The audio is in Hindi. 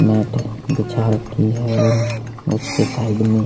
मेट बिछा रखी है और उसके साइड में --